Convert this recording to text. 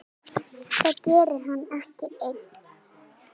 Það geri hann ekki enn.